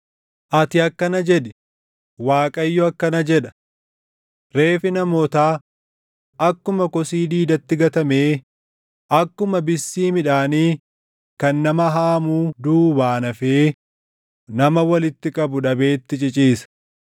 Ati akkana jedhi: “ Waaqayyo akkana jedha: “ ‘Reeffi namootaa akkuma kosii diidatti gatamee, akkuma bissii midhaanii kan nama haamuu duubaan hafee nama walitti qabu dhabeetti ciciisa.’ ”